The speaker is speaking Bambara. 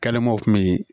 Kɛlɛmaw kun bɛ yen